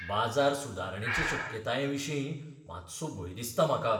बाजार सुदारणेचे शक्यतायेविशीं मातसो भंय दिसता म्हाका.